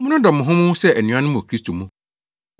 Monnodɔ mo ho mo ho sɛ anuanom wɔ Kristo mu.